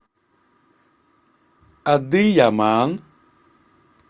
адыяман